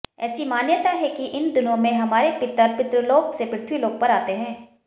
ऐसी मान्यता है कि इन दिनों में हमारे पितर पितृलोक से पृथ्वीलोक पर आते हैं